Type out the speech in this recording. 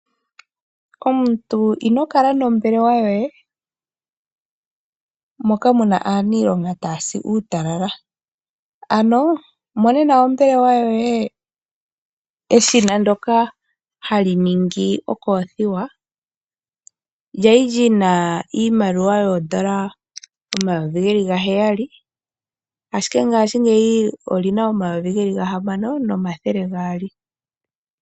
Omuntu ino kala nombelewa yoye moka muna aanilonga taya si uutalala, ano monena ombelewa yoye eshina ndyoka ha li ningi okothiwa ndjali ndjina iimaliwa yondola N$7000 nomongashi nyeyi olina N$6200.